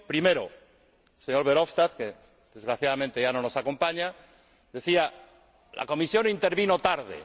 Primero, el señor Verhofstadt —desgraciadamente, ya no nos acompaña— decía que la Comisión intervino tarde.